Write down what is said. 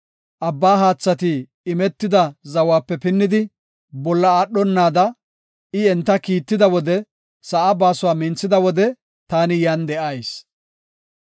abba haathati imetida zawape pinnidi, bolla aadhonada, I enta kiitida wode sa7aa baasuwa minthida wode, taani yan de7ayis.